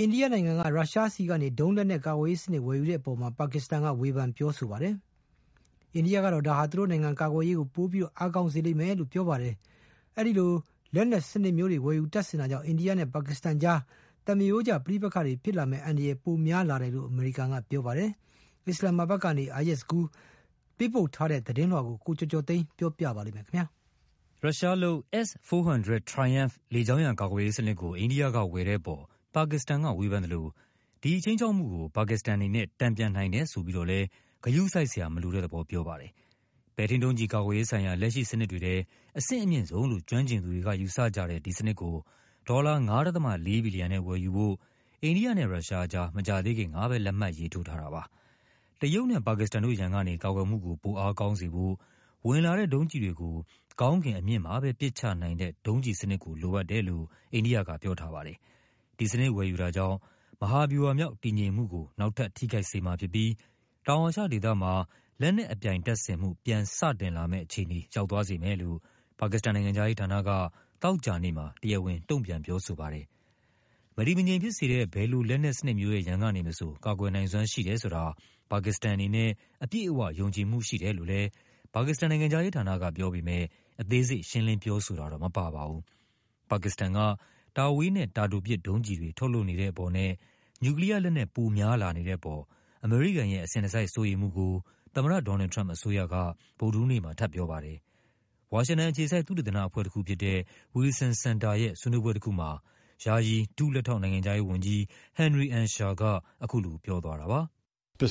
အိန္ဒိယနိုင်ငံက ရုရှားဆီကနေ ဒုံးလက်နက်ကာကွယ်ရေးစနစ် ဝယ်ယူတဲ့အပေါ် ပါကစ္စတန်က ဝေဖန် ပြောဆိုပါ တယ်။ အိန္ဒိယကတော့ ဒါဟာ သူတို့နိုင်ငံ ကာကွယ်ရေးကို ပိုအားကောင်းစေလိမ့်မယ်လို့ ပြောပါတယ်။ ဒီလိုလက်နက်စနစ်မျိုး တွေ ဝယ်ယူတပ်ဆင်တာကြောင့် အိန္ဒိယနဲ့ပါကစ္စတန်အကြား သမားရိုးကျပဋိပက္ခတွေ ဖြစ်လာမယ့်အန္တရာယ် ပိုများလာတယ်လို့ အမေရိကန်က ပြောပါတယ်။ အစ္စလာမ်မာဘတ်ကနေ Ayaz Gul ပေးပို့တဲ့သတင်းလွှာကို ကိုကျော်ကျော်သိန်းက ပြောပြပါမယ်။ ရုရှားလုပ် S-400 Triumph လေကြောင်းရန်ကာကွယ်ရေးစနစ်ကို အိန္ဒိယက ဝယ်ယူတဲ့အပေါ် ပါကစ္စတန်ကဝေဖန်သလို ဒီ ခြိမ်းခြောက်မှုကို ပါကစ္စတန်အနေနဲ့ တန်ပြန်နိုင်တယ်ဆိုပြီးတော့လည်း ဂရုစိုက်စရာမလိုတဲ့သဘော ပြောပါတယ်။ ပဲ့ထိန်းဒုံးကျည်ကာကွယ်ရေးဆိုင်ရာ လက်ရှိစနစ်တွေထဲ အဆင့်အမြင့်ဆုံးလို့ ကျွမ်းကျင်သူတွေက ယူဆကြတဲ့ ဒီစနစ်ကို ဒေါ်လာ ၅.၄ ဘီလီယံနဲ့ ဝယ်ယူဖို့ အိန္ဒိယနဲ့ရုရှားအကြား မကြာသေးခင်ကပဲ လက်မှတ်ရေးထိုးထားတာပါ။ တရုတ်နဲ့ပါကစ္စတန်တို့ ရန်ကနေ ကာကွယ်မှုကို ပိုအားကောင်းစေဖို့ ဝင်လာတဲ့ဒုံးကျည်တွေကို ကောင်းကင်အမြင့်မှာပဲ ပစ်ချနိုင်တဲ့ ဒုံးကျည်စနစ်ကို လိုအပ်တယ်လို့ အိန္ဒိယကပြောထားပါတယ်။ ဒီစနစ်ဝယ်ယူတာကြောင့် “မဟာဗျူဟာမြောက် တည်ငြိမ်မှုကို နောက်ထပ် ထိခိုက်စေ” မှာဖြစ်ပြီး တောင်အာရှဒေသမှာ လက်နက်အပြိုင်တပ်ဆင်မှု “ပြန်စတင်လာမယ့်” အခြေအနေ ရောက်သွားစေမယ်လို့ ပါကစ္စတန်နိုင်ငံခြားရေးဌာနက သောကြာ နေ့မှာ တရားဝင် တုန့်ပြန်ပြောဆိုပါတယ်။ “မတည်မငြိမ်ဖြစ်စေတဲ့ ဘယ်လို လက်နက်စနစ်မျိုးရဲ့ ရန်ကနေမဆို ကာကွယ်နိုင်စွမ်းရှိတယ်ဆိုတာ ပါကစ္စတန်အနေနဲ့ အပြည့် အဝ ယုံကြည်မှုရှိတယ်” လို့လည်း ပါကစ္စတန်နိုင်ငံခြားဌာနကပြောပေမဲ့ အသေးစိတ် ရှင်းလင်း ပြောဆိုတာတော့ မပါပါဘူး။ ပါကစ္စတန်က တာဝေးနဲ့ တာတိုပစ်ဒုံးကျည်တွေ ထုတ်လုပ်နေတဲ့အပေါ်နဲ့ နျူကလီးယားလက်နက် ပိုများလာနေတဲ့အပေါ် အမေရိကန်ရဲ့ အစဉ်တစိုက်စိုးရိမ်မှုကို သမ္မတ ဒေါ်နယ်လ်ဒ် ထရမ့်ပ်အစိုးရက ဗုဒ္ဓဟူးနေ့မှာ ထပ်ပြောပါတယ်။ ဝါရှင်တန်အခြေစိုက် သုတေသနအဖွဲ့တခုဖြစ်တဲ့ Wilson Center ရဲ့ ဆွေးနွေးပွဲတခုမှာ ယာယီ ဒုလက်ထောက်နိုင်ငံခြားရေး ဝန်ကြီး Henry Ensher က အခုလိုပြောသွားပါတယ်။ “အတ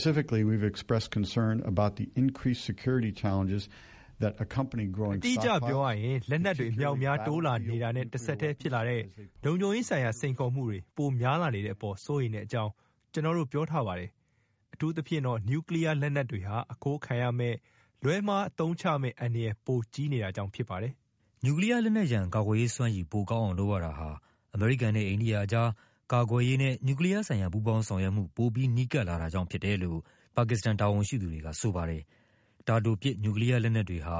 ိအကျပြောရရင် လက်နက်တွေ အမြောက်အများ တိုးလာနေတာနဲ့ တဆက်တည်းဖြစ်လာတဲ့ လုံခြုံရေးဆိုင်ရာ စိန်ခေါ်မှုတွေ ပိုများလာနေတဲ့အပေါ် စိုးရိမ်တဲ့အကြောင်း ကျနော်တို့ပြောထားပါတယ်။ အထူးသဖြင့်တော့ နျူကလီးယား လက်နက်တွေဟာ အခိုးခံရမယ့်၊ လွဲမှားအသုံးချမယ့်အန္တရာယ် ပိုကြီးနေတာကြောင့် ဖြစ်ပါတယ်။” နျူကလီးယားလက်နက်ရန် ကာကွယ်ရေးစွမ်းရည် ပိုကောင်းအောင် လုပ်ရတာဟာ အမေရိကန်နဲ့ အိန္ဒိယအကြား ကာကွယ်ရေးနဲ့ နျူကလီးယားဆိုင်ရာ ပူးပေါင်းဆောင်ရွက်မှု ပိုပြီးနီးကပ်လာတာကြောင့်ဖြစ်တယ်လို့ ပါကစ္စတန်တာဝန်ရှိသူတွေက ဆိုပါတယ်။ တာတိုပစ် နျူကလီးယားလက်နက်တွေဟာ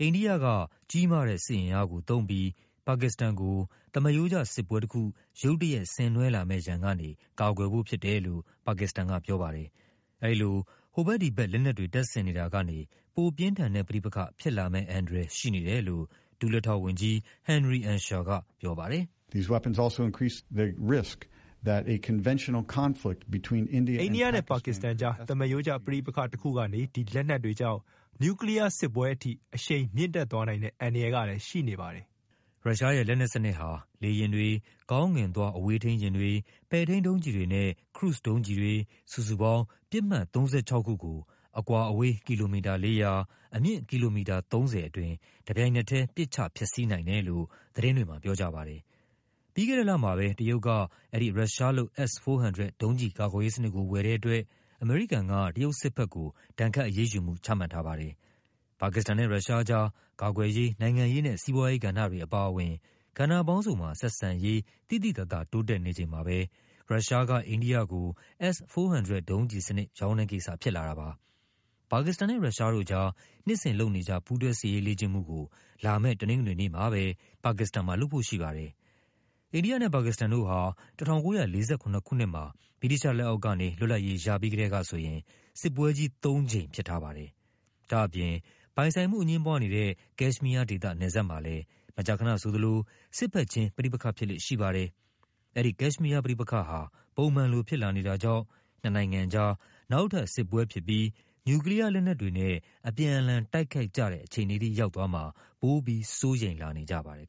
အိန္ဒိယက ကြီးမားတဲ့စစ်အင်အားကိုသုံးပြီး ပါကစ္စတန်ကို သမားရိုးကျစစ်ပွဲတခု ရုတ် တရက် ဆင်နွှဲလာမယ့်ရန်ကနေ ကာကွယ်ဖို့ဖြစ်တယ်လို့ ပါစ္စတန်ကပြောပါတယ်။ အဲဒီလို ဟိုဖက်ဒီဖက် လက်နက်တွေ တပ်ဆပ်နေတာကနေ ပိုပြင်းထန်တဲ့ပဋိပက္ခ ဖြစ်လာမယ့်အန္တရာယ် ရှိနေတယ်လို့ ဒု လက်ထောက်ဝန်ကြီး Henry Ensher ကပြောပါတယ်။ “အိန္ဒိယနဲ့ပါကစ္စတန်အကြား သမားရိုးကျ ပဋိပက္ခတခုကနေ ဒီလက်နက်တွေကြောင့် နျူကလီးယားစစ်ပွဲအထိ အရှိန် မြင့်တက်သွားနိုင်တဲ့ အန္တရာယ်ကလည်း ရှိနေပါတယ်။” ရုရှားရဲ့လက်နက်စနစ်ဟာ လေယာဉ်တွေ၊ ကောင်းကင်သွား အဝေးထိန်းယာဉ်တွေ၊ ပဲ့ထိန်းဒုံးကျည်တွေနဲ့ ခရုဇ်ဒုံးကျည်တွေ စုစုပေါင်း ပစ်မှတ် ၃၆ ခုကို အကွာအဝေး ကီလိုမီတာ ၄၀၀၊ အမြင့် ကီလိုမီတာ ၃၀ အတွင်း တပြိုင်နက်တည်း ပစ်ချဖျက်ဆီးနိုင် တယ်လို့ သတင်းတွေမှာ ပြောကြပါတယ်။ ပြီးခဲ့တဲ့လမှာပဲ တရုတ်က အဲဒီ ရုရှားလုပ် S-400 ဒုံးကျည်ကာကွယ်ရေးစနစ်ကို ဝယ်တဲ့အတွက် အမေရိကန်က တရုတ်စစ်ဘက် ကို ဒဏ်ခတ်အရေးယူူမှု ချမှတ်ထားပါတယ်။ ပါကစ္စတန်နဲ့ ရုရှားအကြား ကာကွယ်ရေး၊ နိုင်ငံရေးနဲ့ စီးပွားရေးကဏ္ဍတွေအပါအဝင် ကဏ္ဍပေါင်းစုံမှာ ဆက်ဆံရေး သိသိသာသာ တိုးတက်နေချိန်မှာပဲ ရုရှားက အိန္ဒိယကို S-400 ဒုံးကျည်စနစ် ရောင်းတဲ့ကိစ္စဖြစ်လာတာပါ။ ပါကစ္စတန်နဲ့ရုရှားတို့ကြား နှစ်စဉ် လုပ်နေကြ ပူးတွဲစစ်ရေးလေ့ကျင့်မှုကို လာမယ့်တနင်္ဂနွေနေ့မှာပဲ ပါကစ္စတန်မှာ လုပ်ဖို့ရှိပါတယ် အိန္ဒိယနဲ့ ပါကစ္စတန်တို့ဟာ ၁၉၄၇ ခုနှစ်မှာ ဗြိတိသျှလက်အောက်ကနေ လွတ်လပ်ရေးရပြီးကတည်းကဆိုရင် စစ်ပွဲကြီးသုံးကြိမ် ဖြစ်ထားပါတယ်။ ဒါ့အပြင် ပိုင်ဆိုင်မှုအငြင်းပွားနေတဲ့ ကက်ရှ်မီးယားဒေသ နယ်စပ်မှာလည်း မကြာခနဆိုသလို စစ်ဘက်ခြင်း ပဋိပက္ခဖြစ်လေ့ရှိပါတယ်။ အဲဒီကက်ရှ်မီးယားပဋိပက္ခဟာ ပုံမှန်လိုဖြစ်လာနေတာကြောင့် နှစ်နို်င်ငံအကြား နောက်ထပ်စစ်ပွဲဖြစ်ပြီး နျူကလီးယားလက်နက်တွေနဲ့ အပြန်အလှန်တိုက်ခိုက်ကြတဲ့ အခြေအနေထိရောက်မှာ ပိုပြီး စိုးရိမ်လာနေကြပါတယ်